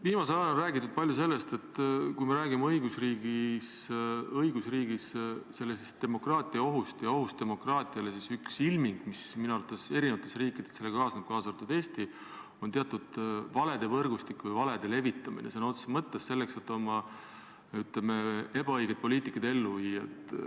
Viimasel ajal on räägitud palju sellest, et kui me räägime õigusriigis demokraatia ohust, ohust demokraatiale, siis üks ilming, mis minu arvates eri riikides sellega kaasneb, kaasa arvatud Eesti, on teatud valede võrgustik või valede levitamine sõna otseses mõttes selleks, et oma, ütleme, ebaõiget poliitikat ellu viia.